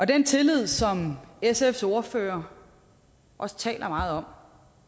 den tillid som sfs ordfører også taler meget om